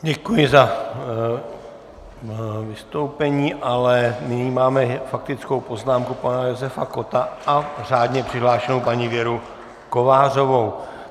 Děkuji za vystoupení, ale nyní máme faktickou poznámku pana Josefa Kotta a řádně přihlášenou paní Věru Kovářovou.